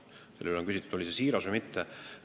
Palju on küsitud, on see siiras või mitte.